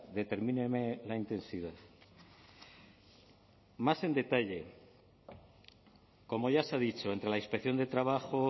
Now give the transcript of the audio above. determíneme la intensidad más en detalle como ya se ha dicho entre la inspección de trabajo